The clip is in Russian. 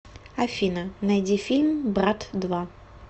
афина найди фильм брат два